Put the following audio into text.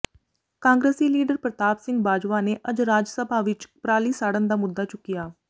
ਕਾਂਗਰਸੀ ਲੀਡਰ ਪਰਤਾਪ ਸਿੰਘ ਬਾਜਵਾ ਨੇ ਅੱਜ ਰਾਜ ਸਭਾ ਵਿੱਚ ਪਰਾਲੀ ਸਾੜਨ ਦਾ ਮੁੱਦਾ ਚੁੱਕਿਆ